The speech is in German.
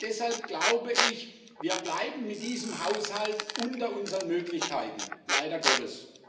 Deshalb glaube ich, wir bleiben mit diesem Haushalt unter unseren Möglichkeiten leider Gottes.